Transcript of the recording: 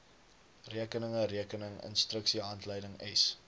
rekeninge rekening instruksiehandleidings